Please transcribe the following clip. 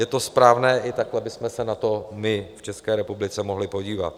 Je to správné, i takhle bychom se na to my v České republice mohli podívat.